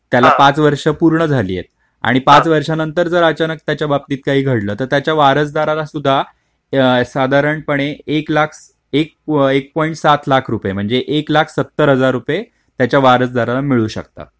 पाच वर्ष पूर्ण झाली आहे आणि पाच वर्षानंतर जर अचानक त्याच्या बाबतीत काही घडलं तर त्याच्या वारसदाराला सुद्धा साधारणपणे एक लाख एक एक पॉईंट सात लाख रुपये म्हणजे एक लाख सत्तर हजार रुपये त्यांच्या वारसदारांना मिळू शकतात.